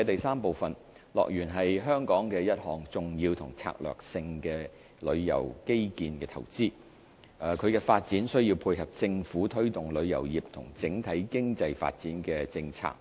三樂園是香港的一項重要和策略性的旅遊基建投資，其發展需要配合政府推動旅遊業和整體經濟發展的政策。